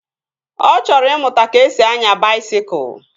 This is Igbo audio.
Ọ chọrọ ịmụta ka-esi anya baisikụl